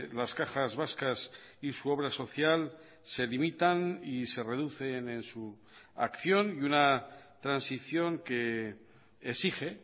las cajas vascas y su obra social se limitan y se reducen en su acción y una transición que exige